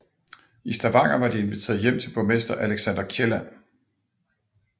I Stavanger var de inviteret hjem til borgmester Alexander Kielland